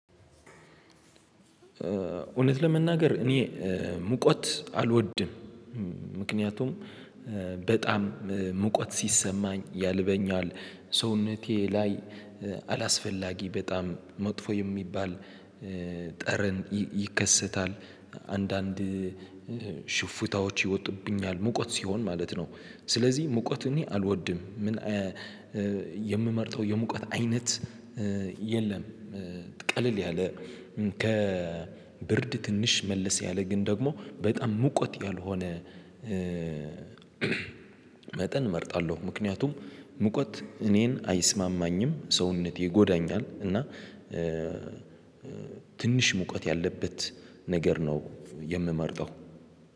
እውነት ለመናገር እኔ ሙቀት አልወድም ምክንያቱም በጣም ሙቀት ሲሰማኝ ያልበኛል ሰውነቴ ላይ አላስፈላጊ በጣም መጥፎ የሚባል ጠረን ይከሰታል። አንዳንድ ሽፍታዎች ይወጡብኛል ሙቀት ሲሆን ማለት ነው። ስለዚህ ሙቀት እኔ አልወድም። ምን የምመርጠው የሙቀት አይነት የለም። ቀለል ያለ ከ ከብርድ ትንሽ መልስ ያለ ግን ደግሞ በጣም ሙቀት ያልሆነ መጠን እመርጣለሁ። ምክንያቱም ሙቀት እኔን አይስማማኝም ሰውነቴ ይጎዳኛል። እና ትንሽ ሙቀት ያለበት ነገር ነው የምመርጠው